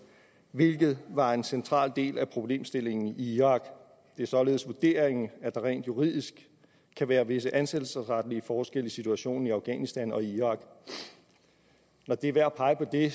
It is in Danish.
hvilket var en central del af problemstillingen i irak det er således vurderingen at der rent juridisk kan være visse ansættelsesretlige forskelle i situationen i afghanistan og i irak når det er værd at pege på det